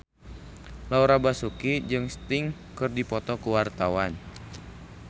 Laura Basuki jeung Sting keur dipoto ku wartawan